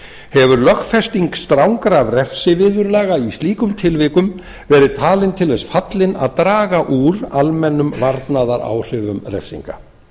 hefur lögfesting strangra refsiviðurlaga í slíkum tilvikum verið talin til þess fallin að draga úr almennum varnaðaráhrifum refsinga